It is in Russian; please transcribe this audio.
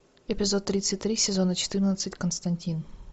эпизод тридцать три сезона четырнадцать константин